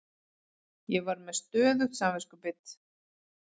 Ég var með stöðugt samviskubit.